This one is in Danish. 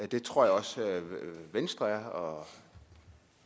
det tror jeg også venstre og